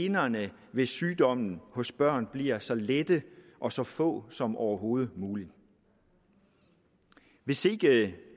generne ved sygdommen hos børn bliver så lette og så få som overhovedet muligt hvis ikke